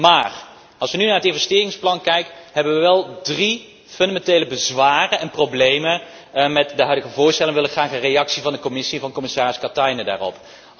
Maar, als wij nu naar het investeringsplan kijken hebben wij wel drie fundamentele bezwaren en problemen met de huidige voorstellen en wij willen graag een reactie van de Commissie, van commissaris Katainen daarop.